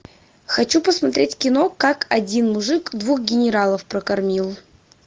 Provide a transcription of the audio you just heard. хочу посмотреть кино как один мужик двух генералов прокормил